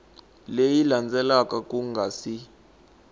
leyi landzelaka ku nga si